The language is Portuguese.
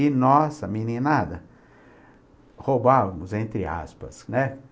E nós, a meninada, roubávamos, entre aspas, né?